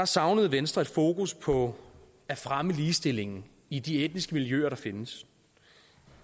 savnede venstre et fokus på at fremme ligestillingen i de etniske miljøer der findes